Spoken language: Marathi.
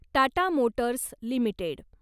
Tata Motors limited